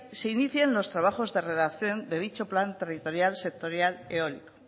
se inicien los trabajos de redacción de dicho plan territorial sectorial eólico